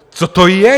Co to je?